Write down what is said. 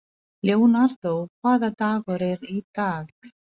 Leonardó, hvaða dagur er í dag?